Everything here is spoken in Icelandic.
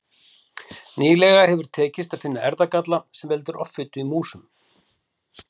Nýlega hefur tekist að finna erfðagalla sem veldur offitu í músum.